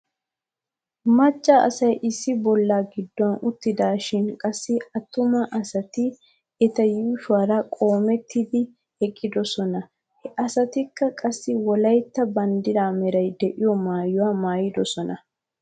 Macca asay issi bolla gidduwan uttidaashin qassi attuma asati eta yuushuwaara qoomettidi eqqidosona. He asatikka qassi wolaytta baddiraa meray de'iyoo maayuwaa maayidosona.